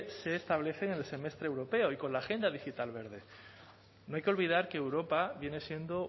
se establecen en el semestre europeo y con la agenda digital verde no hay que olvidar que europa viene siendo